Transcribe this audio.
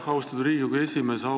Aitäh, austatud Riigikogu esimees!